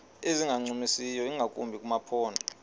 ezingancumisiyo ingakumbi kumaphondo